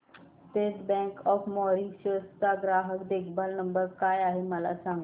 state Bank of Mauritius चा ग्राहक देखभाल नंबर काय आहे मला सांगा